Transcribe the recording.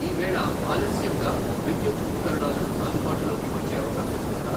ఈవేళ ఆలస్యంగా విద్యుత్ ఉపకరణాలు అందుబాటులోకి వచ్చే అవకాశం ఉందా?